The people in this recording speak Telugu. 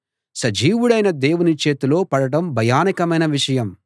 సజీవుడైన దేవుని చేతిలో పడడం భయానకమైన విషయం